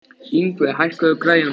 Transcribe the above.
Yngvi, hækkaðu í græjunum.